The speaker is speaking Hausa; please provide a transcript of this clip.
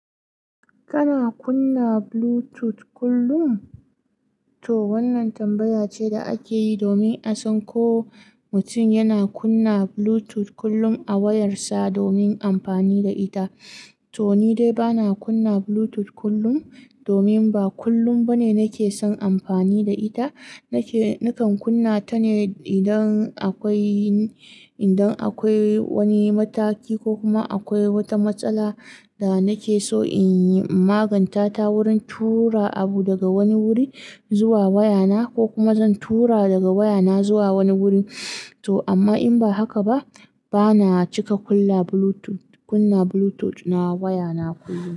Kana kunna Bluetooth kullum? To wannan tambaya ce da ake yi domin a san ko mutum yana kunna Bluetooth kullum a wayarsa domin amfani da ita. To ni dai ba na kunna Bluetooth kullum, domin ba kullum ba ne nake son amfani da ita. Nake-- nakan kunna ta ne idan akwai, idan akwai wani mataki ko kuma akwai wata matsala da nake so in maganta ta wurin tura abu daga wani wuri zuwa wayana ko kuma zan tura daga wayana zuwa wani wuri. To amma in ba haka ba, ba na cika kulla Bluetooth, kunna Bluetooth na wayana kullum.